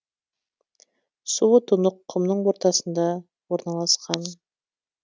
суы тұнық құмның ортасында орналасқан